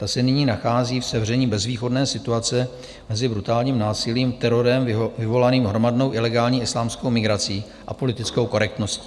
Ta se nyní nachází v sevření bezvýchodné situace mezi brutálním násilím, terorem vyvolaným hromadnou ilegální islámskou migrací a politickou korektností.